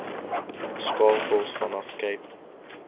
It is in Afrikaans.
skakels vanaf cape